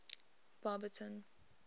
barberton